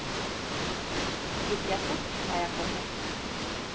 Gikk jeg fort, var jeg konge.